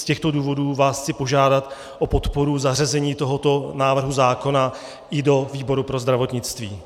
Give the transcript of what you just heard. Z těchto důvodů vás chci požádat o podporu zařazení tohoto návrhu zákona i do výboru pro zdravotnictví.